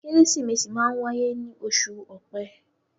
Kérésìmesì máa ń wáyé ní oṣù Ọpẹ.